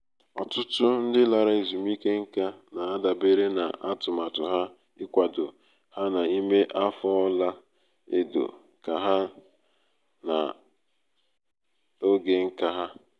ọtụtụ ndị lara ezumike nká na-adabere na atụmatụ ha ịkwado ha n'ime afọ ọla edo ha na oge nka ha